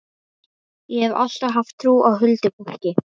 Ég hef alltaf haft trú á huldufólki.